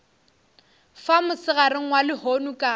fa mosegareng wa lehono ka